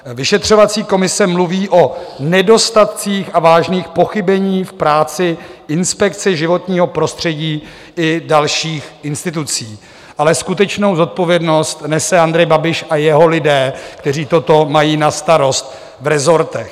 Vyšetřovací komise mluví o nedostatcích a vážných pochybeních v práci Inspekce životního prostředí i dalších institucí, ale skutečnou zodpovědnost nese Andrej Babiš a jeho lidé, kteří toto mají na starost v resortech.